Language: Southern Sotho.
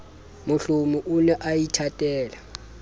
mohlomi o ne a ithatela